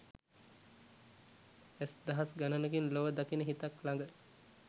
ඇස් දහස් ගණනකින් ලොව දකින හිතක් ළඟ